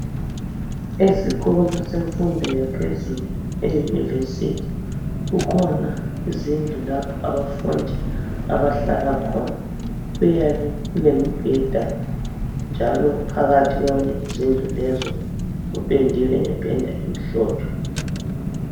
Esikolo semfundo yaphezulu eyunivesithi kukhona izindlu lapho abafundi abahlala khona. Kuyabe kulemibheda njalo phakathi lezozindlu zipendwe ngependa emhlophe.